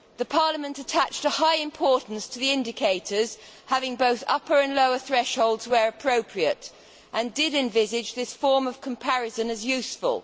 Parliament attached a high importance to the indicators having both upper and lower thresholds where appropriate, and envisaged this form of comparison as useful.